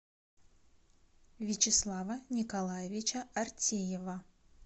вячеслава николаевича артеева